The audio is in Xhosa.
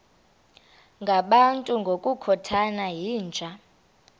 ngabantu ngokukhothana yinja